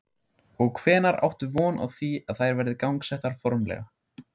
Og hvenær áttu von á því að þær verði gangsettar formlega?